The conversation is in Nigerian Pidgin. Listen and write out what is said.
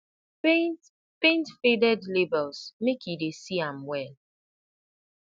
paint paint faded labels make e dey see am well